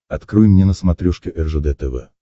открой мне на смотрешке ржд тв